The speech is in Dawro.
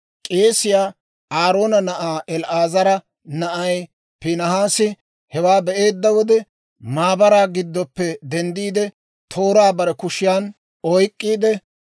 K'eesiyaa Aaroona na'aa El"aazara na'ay Piinihaasi hewaa be'eedda wode, maabaraa giddoppe denddiide, tooraa bare kushiyan oyk'k'iide,